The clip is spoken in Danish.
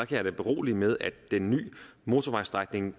kan jeg da berolige med at den nye motorvejsstrækning